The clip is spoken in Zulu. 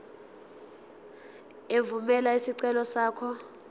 evumela isicelo sakho